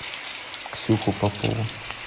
ксюху попову